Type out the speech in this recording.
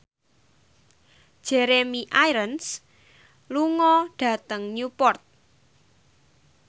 Jeremy Irons lunga dhateng Newport